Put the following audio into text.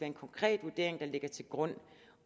en konkret vurdering der ligger til grund